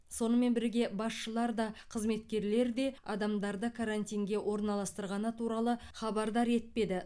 сонымен бірге басшылар да қызметкерлер де адамдарды карантинге орналастырғаны туралы хабардар етпеді